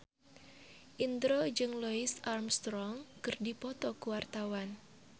Indro jeung Louis Armstrong keur dipoto ku wartawan